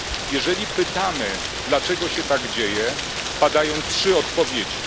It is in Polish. Jeżeli pytamy, dlaczego się tak dzieje, padają trzy odpowiedzi.